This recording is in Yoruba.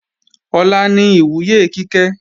Ọ̀la ni ìwúyè Kíkẹ́